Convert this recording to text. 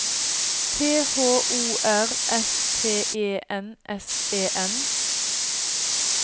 T H O R S T E N S E N